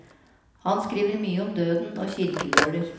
Han skriver mye om døden og kirkegårder.